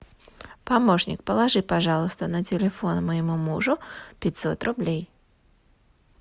помощник положи пожалуйста на телефон моему мужу пятьсот рублей